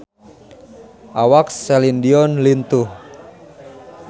Awak Celine Dion lintuh